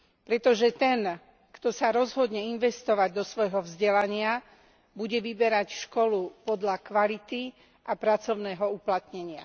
Pretože ten, kto sa rozhodne investovať do svojho vzdelania, bude vyberať školu podľa kvality a pracovného uplatnenia.